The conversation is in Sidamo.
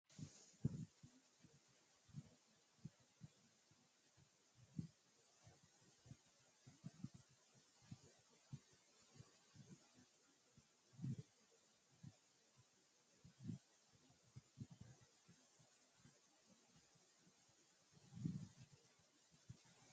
mine horonsi'nanni uduunni giddo mittu daallasaho isino goxate horonsi'nanniho duuchu dani uduunni iimasi no mulesino shiimmaadda saaxinna kiirose lame no